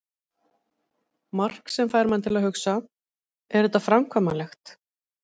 Mark sem fær mann til að hugsa: Er þetta framkvæmanlegt?